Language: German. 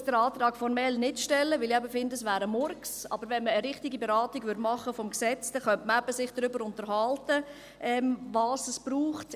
Ich stelle jetzt den Antrag formell nicht, da ich finde, dass es ein Murks wäre, aber wenn man eine richtige Beratung des Gesetzes machen würde, könnte man sich darüber unterhalten, was es braucht.